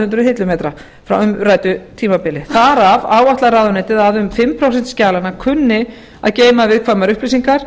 hundruð hillumetra frá umræddu tímabili þar af áætlar ráðuneytið að um fimm prósent skjalanna kunni að geyma viðkvæmar upplýsingar